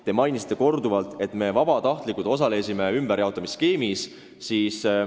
Te mainisite korduvalt, et me vabatahtlikult osalesime ümberjaotamisskeemis.